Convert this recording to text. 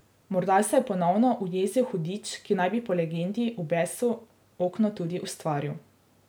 Morda se je ponovno ujezil hudič, ki naj bi po legendi v besu okno tudi ustvaril.